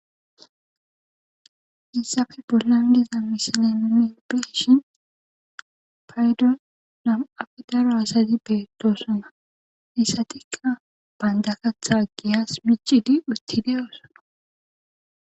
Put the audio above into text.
issafe bollandiza misileni beshin paydo nam7afe daro asazi beetossona missatikka banita katha giyas michidi uttideyoosono